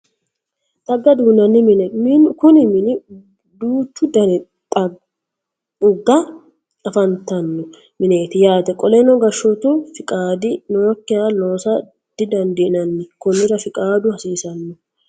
Xagga duunanni mine Kuni mini duuchu Dani dha xagga afantano mineeti yaate qoleno gashshootu fiqaadi nookiha loosa didandiinanni konnira fiqaadu hasiisano